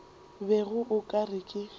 bego o ka re ke